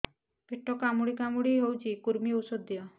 ପେଟ କାମୁଡି କାମୁଡି ହଉଚି କୂର୍ମୀ ଔଷଧ ଦିଅ